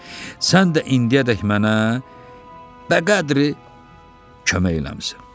Sən də indiyədək mənə bəqədri kömək eləmisən.